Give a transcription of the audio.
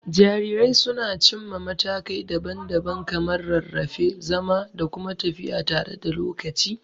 Jarirai sun cimma matakai daban-daban kamar rarrafe, zama, da kuma tafiya tare da lokaci.